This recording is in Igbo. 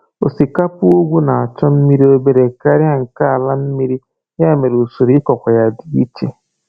Osikapa ugwu na-achọ mmiri obere karịa nke ala mmiri, ya mere usoro ịkụkwa dị ichekwa.